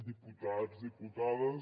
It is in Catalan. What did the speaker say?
diputats diputades